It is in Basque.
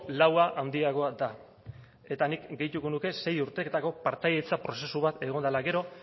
laua handiagoa da eta nik gehituko nuke sei urteetako partaidetza prozesu bat egon dela gero